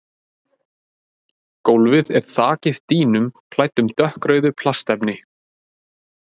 Gólfið er þakið dýnum klæddum dökkrauðu plastefni.